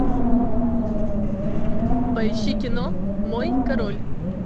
поищи кино мой король